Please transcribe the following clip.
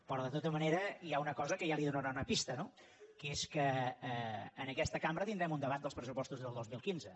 però de tota manera hi ha una cosa que ja li donarà una pista no que és que en aquesta cambra tindrem un debat dels pressupostos del dos mil quinze